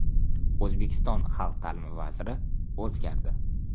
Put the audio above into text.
O‘zbekiston xalq ta’limi vaziri o‘zgardi.